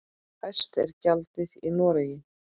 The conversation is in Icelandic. Hæst er gjaldið í Noregi.